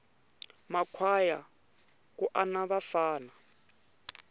ma kwhaya ku ana vafana